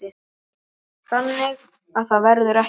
Þannig að það verður ekki.